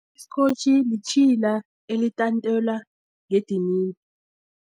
Isikotjhi yitjhila elitantelwa ngedinini.